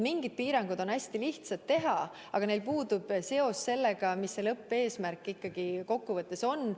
Mingid piirangud on hästi lihtsad teha, aga neil puudub seos sellega, mis see lõppeesmärk ikkagi kokkuvõttes on.